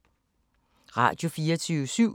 Radio24syv